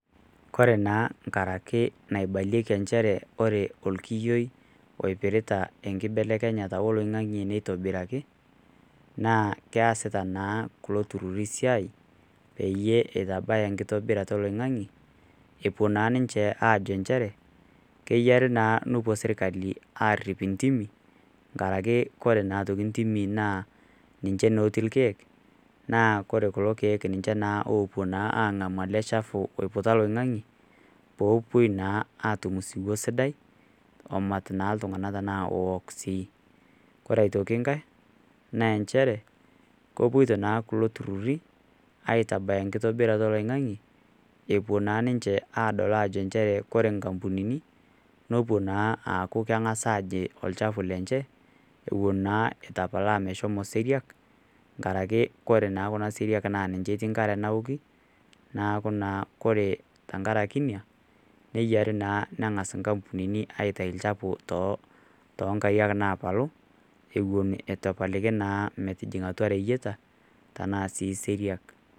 Kore naa enkara ake naibalieki nchere Kore olkiyioi oipirita enkibelekenyata oloing'ang'e neitobiraki naa keasita naa kulo tururi esiai peyie eitabaya enkitobirata oloing'ang'e epuo naa ninche aajo nchere keyare naa nepuo serkali aarip intimi enkara Kore naa aitoki intimi naa ninche naa etiii ilkeek naa ore kulo keek naa ninche naa opuo naa ang'amu ele shafu oiputa oloing'ang'e, peepuoi naa atum osiwuo sidai omat naa iltung'ana ashu ook sii. Kore aitoki enkai, naa nchere kepuoita naa kulo tung'ana aitabaya enkitobirata oloing'ang'e epuo naa ninche aadol nchere Kore inkapunini nepuo naa aaku keng'as aje olshafu lenye ewuen naa eitu epalaa meshomo seriak enkare ake Kore Kuna seriak naa ninche etii enkare naoki, naaku naa Kore tenkaraki Ina neyiare naa neng'as inkapunini aitayu olchafu too inkariak napalu eton eitu epalu naa atua ireyieta ashu sii seriak.